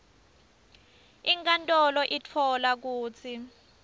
inkantolo itfola kutsi